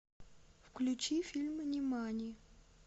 включи фильм нимани